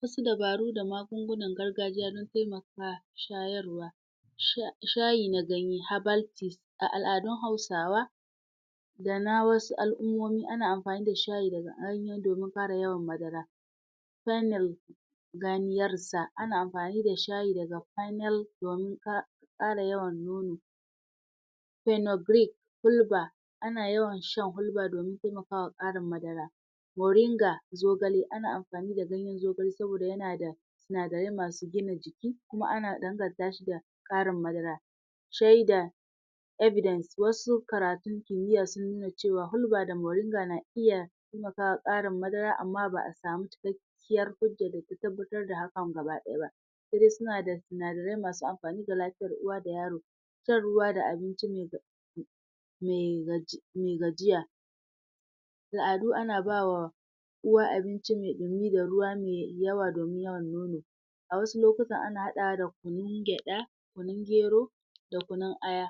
Wasu dabaru da amagungunan gargajiya don taimaka shayarwa: Shayi na ganye (herbal tea). A al'adun Hausawa, da ma wasu al'ummomi ana amfani da shayi domin kare yawan madara ta hanyan. Ana amfani da shayi daga domin ƙara yawan nono hulba. Ana yawan shan hulba domin taimaka wa ƙarin madara. Moringa, zogale. Ana amfani da zogale saboda yana da sinadarai masu gina jiki kuma ana danganta shi da ƙrin madara. Shaida, evidence. Wasu karatun kimiyya sun nuna cewa hulba da moringa na iya taimaka wa ƙarin madara amma ba a samu cikakken cikakkiyar hujja da ke tabbatar da hakan gaba ɗaya ba, sai dai suna da sinadarai masu amfani ga lafiyar uwa da yaro. Shan ruwa da abinci mai kyau mai gaji, mai gajiya. A al'adu ana ba wa uwa abinci mai ɗumi da ruwa mai yawa domin yawan nono A wasu lokuta ana haɗawa da kunun gyaɗa, kunun gero da kunu aya.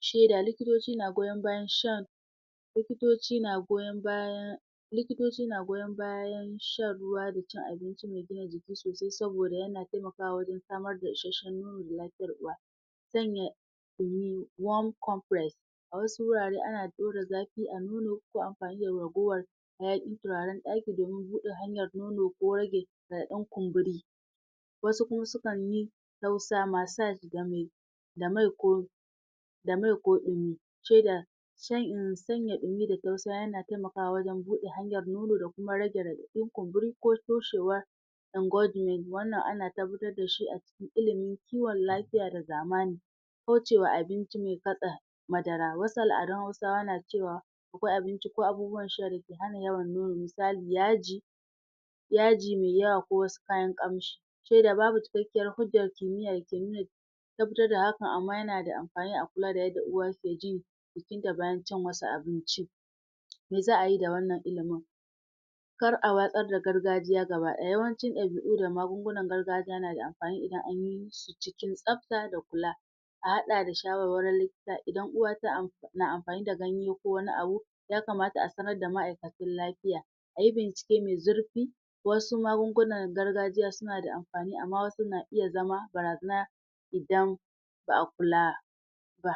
Shaida: Likitoci na goyon bayan shan likitoci na goyon bayan, likitoci na goyon bayan shan ruwa da cin abinci mai gina jiki sosai yana taimkawa wajen samar da isasshen lafiyar uwa. Sannan, a wasu wurare ana ɗaura zafi a nono ko amfani da ragowar hayaƙin turaren ɗaki domin buɗe hanyar nono ko rage ɗan kumburi. Wasu kuma sukan yi tausa (massage) da mai ko da mai ko in ce da sanya in yi da tausa yana taimakawa wajen buɗe hanyar nono da kuma rage raɗaɗin kumburi ko toshewa Wannan ana tabbatar da shi cikin ilimin kiwon lafiya ba zamani. Kauce wa abinci mai fatsa madara. Wasu al'adun Hausawa na cewa akwai abinci ko abubuwan sha da ke hana yawan nono. Misali, yaji, yaji mai yawa ko wasu kayan ƙamshi. Shaida: Babu cikakkiyar hujjar kimiyya da ke nuna tabbatar da hakan amma yana da amfani a kula da yadda uwa ke ji, jikinta bayan cin wasu abinci. Me za a yi da wannan ilimin? kar a watsar da gargajiya gaba ɗaya. Yawancin ɗabi'u da magungunan gargajiya na da amfani idan an yi su cikin tsafta da kula A haɗa da shawarwarin likita. Idan uwa tana amfani da ganye ko wani abu, ya kamata a sanar da ma'aikatan lafiya. A yi bincike mai zurfi Wasu magungunan gargajiya suna da amfani amma wasun na iya zama barazana idan ba a kula ba.